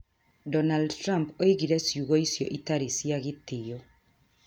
Donald Trump oigire ciugo icio itarĩ cia gĩtĩo.